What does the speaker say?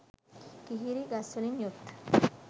කිහිරි ගස්වලින් යුත්